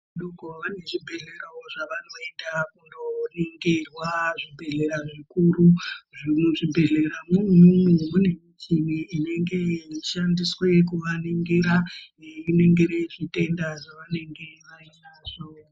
...vane zvibhedhlerawo zvavanoenda kundoningirwa, zvibhedhlera zvikuru. Muzvibhehleramwo umwomwo mune michini inenge yeishandiswe kuvaningira. Yeiningire zvitenda zvavanenge vainazvo.